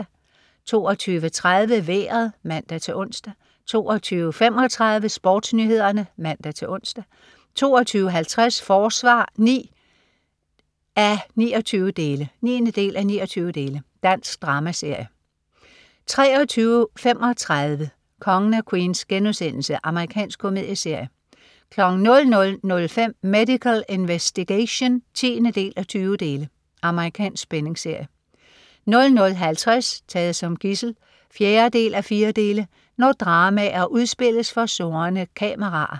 22.30 Vejret (man-ons) 22.35 SportsNyhederne (man-ons) 22.50 Forsvar 9:29. Dansk dramaserie 23.35 Kongen af Queens.* Amerikansk komedieserie 00.05 Medical Investigation 10:20. Amerikansk spændingsserie 00.50 Taget som gidsel 4:4. Når dramaer udspilles for snurrende kameraer